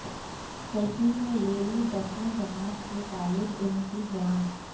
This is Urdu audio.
سیلفی نے لی دسویں جماعت کے طالب علم کی جان